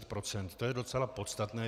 To je docela podstatné.